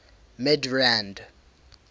midrand